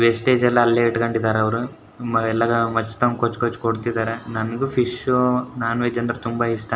Wastage ಎಲ್ಲ ಅಲ್ಲೇ ಇಟ್ಕೊಂಡಿದ್ದಾರೆ ಅವರು ಎಲ್ಲ ಮಚ್ ತಂದು ಕೊಚ್ಚಿ ಕೊಚ್ಚಿ ಕೊಡ್ತಿದ್ದಾರೆ ನನಗು ಫಿಶ್ ನೋನ್ ವೆಜ್ ಅಂದ್ರೆ ತುಂಬಾ ಇಷ್ಟ.